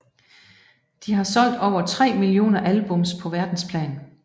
De har solgt over 3 millioner albums på verdensplan